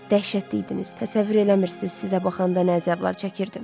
Dəhşətli idiniz, təsəvvür eləmirsiniz, sizə baxanda nə əzablar çəkirdim.